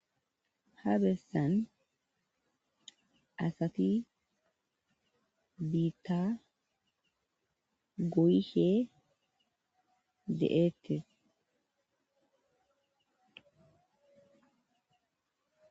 ha bessan asati biitta goyishe de7eettes.